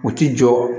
U ti jɔ